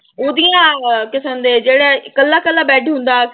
ਉਹਦੀਆਂ ਕਿਸਮ ਦੇ ਜਿਹੜੇ ਇਕੱਲਾ ਇਕੱਲਾ bed ਹੁੰਦਾ।